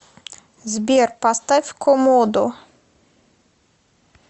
сбер поставь комодо